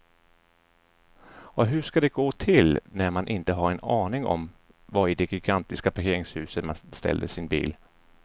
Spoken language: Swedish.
Och hur ska det gå till när man inte har en aning om var i det gigantiska parkeringshuset man ställde sin bil.